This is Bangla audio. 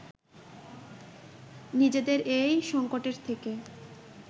নিজেদের এই সংকটের থেকে